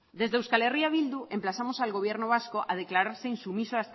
desde eh bildu emplazamos al gobierno vasco a declararse insumiso